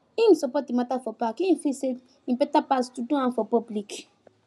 him support the matter for back e feel say e better pass to do am for public